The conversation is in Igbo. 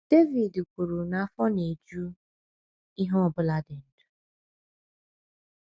Devid kwuru na afọ na - eju “ ihe ọ bụla dị ndụ. ”